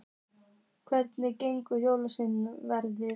Hvernig hefur jólaverslunin verið?